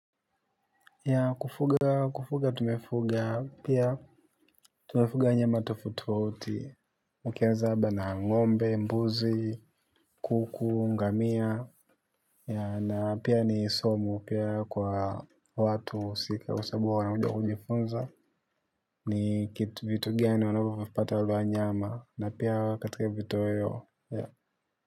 Ya kufuga kufuga tumefuga pia tumefuga wanyama tofauti tofauti ukianza haba na ng'ombe, mbuzi, kuku, ngamia ya na pia ni somo pia kwa watu husi kwa sababu wanaanza kujifunza ni vitu gani unavyo vipata waluwa nyama na pia katika vitu weyo ya.